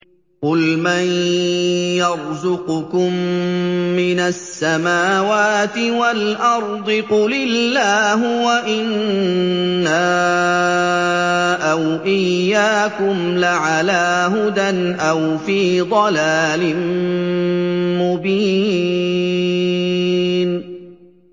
۞ قُلْ مَن يَرْزُقُكُم مِّنَ السَّمَاوَاتِ وَالْأَرْضِ ۖ قُلِ اللَّهُ ۖ وَإِنَّا أَوْ إِيَّاكُمْ لَعَلَىٰ هُدًى أَوْ فِي ضَلَالٍ مُّبِينٍ